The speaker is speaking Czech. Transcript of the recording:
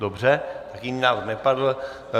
Dobře, jiný návrh nepadl.